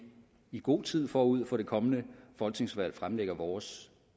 i god tid forud for det kommende folketingsvalg fremlægger vores